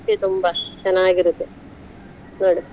ತುಂಬಾ ಚೆನ್ನಾಗಿರತ್ತೆ, ನೋಡು?